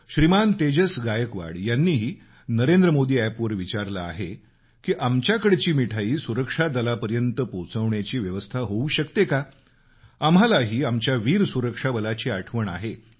श्रीमान तेजस गायकवाड यांनीही नरेंद्र मोदी अॅपवर विचारलं आहे की आमच्याकडची मिठाई सुरक्षा दलापर्यंत पोचवण्याची व्यवस्था होऊ शकते का आम्हालाही आमच्या वीर सुरक्षा बलाची आठवण येते